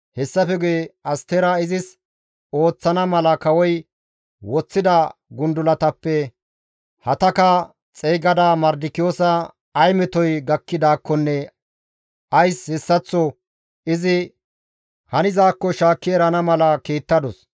Hessafe guye Astera izis ooththana mala kawoy woththida gundulatappe Hataka xeygada Mardikiyoosa ay metoy gakkidaakkonne ays hessaththo izi hanizaakko shaakki erana mala kiittadus.